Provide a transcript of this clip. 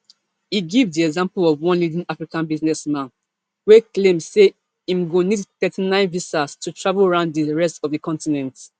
e give di example of one leading african businessman wey claim say im go need thirty-nine visas to travel round di rest of di continent